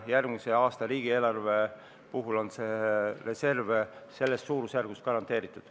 Järgmise aasta riigieelarve puhul on see reserv selles suurusjärgus garanteeritud.